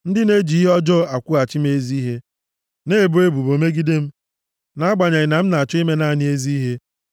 Ndị na-eji ihe ọjọọ akwụghachi m ezi ihe, na-ebo ebubo megide m nʼagbanyeghị na m na-achọ ime naanị ezi ihe.